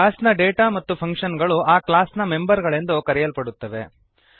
ಕ್ಲಾಸ್ನ ಡೇಟಾ ಮತ್ತು ಫಂಕ್ಶನ್ ಗಳು ಆ ಕ್ಲಾಸ್ ನ ಮೆಂಬರ್ ಗಳೆಂದು ಕರೆಯಲ್ಪಡುತ್ತವೆ